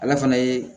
Ale fana ye